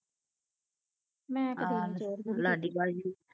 ਆ ਲਾਡੀ ਭਾਜੀ